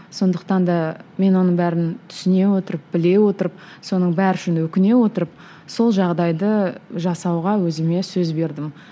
сондықтан да мен оның бәрін түсіне отырып біле отырып соның бәрі үшін өкіне отырып сол жағдайды жасауға өзіме сөз бердім